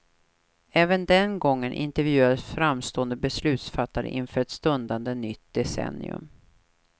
Även den gången intervjuades framstående beslutsfattare inför ett stundande nytt decennium.